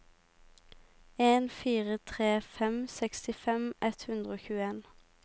en fire tre fem sekstifem ett hundre og tjueen